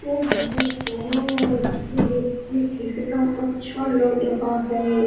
Oh my god ये देखिए कितना अच्छा लग रहा है।